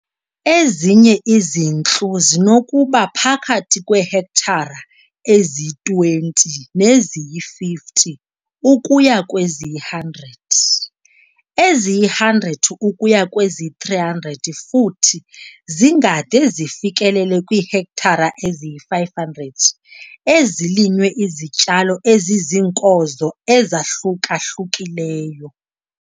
Ezinye izintlu zinokuba phakathi kweehektare eziyi-20 neziyi-50 ukuya kweziyi-100, eziyi-100 ukuya kweziyi-300 futhi zingade zifikelele kwiihektare eziyi-500 ezilinywe izityalo eziziinkozo ezahluka-hlukileyo.